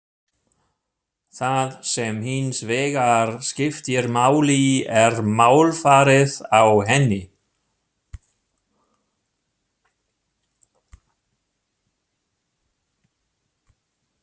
Það sem hins vegar skiptir máli er málfarið á henni.